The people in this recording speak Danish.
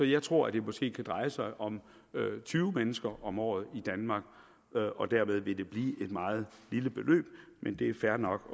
jeg tror at det måske kan dreje sig om tyve mennesker om året i danmark og dermed vil det blive et meget lille beløb men det er fair nok